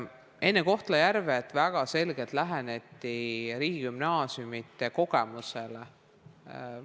Enne Kohtla-Järvet arvestati väga selgelt riigigümnaasiumide senist kogemust.